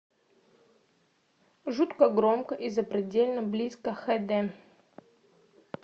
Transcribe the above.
жутко громко и запредельно близко хд